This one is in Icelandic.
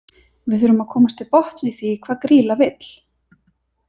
Við þurfum að komast til botns í því hvað Grýla vill.